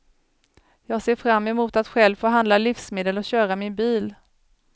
Jag ser fram emot att själv få handla livsmedel och köra min bil.